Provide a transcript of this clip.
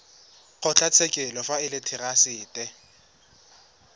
kgotlatshekelo fa e le therasete